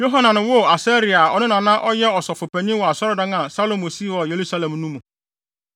Yohanan woo Asaria a ɔno na na ɔyɛ ɔsɔfopanyin wɔ asɔredan a Salomo sii wɔ Yerusalem no mu.